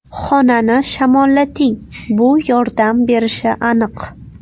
Xonani shamollating, bu yordam berishi aniq.